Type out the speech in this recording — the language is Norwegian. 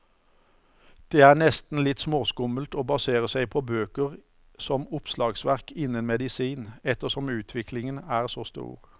Det er nesten litt småskummelt å basere seg på bøker som oppslagsverk innen medisin, ettersom utviklingen er så stor.